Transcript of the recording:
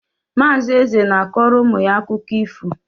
Mazi Eze na-akọrọ ụmụ ya akụkọ ifo